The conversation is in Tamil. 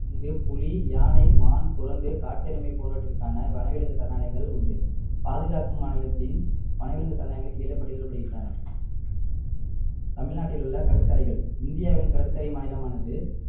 இங்கு புலி யானை மான் குரங்கு காட்டெருமை போன்றவற்றிற்கான வனவிலங்கு சரணாலயங்கள் உண்டு பாதுகாக்கும் மாநிலத்தின் வனவிலங்கு சரணாலயங்களின் கீழே பட்டியலிடப்படுகின்றன தமிழ்நாட்டில் உள்ள கடற்கரைகள் இந்தியாவின் கடற்கரை மாநிலமானது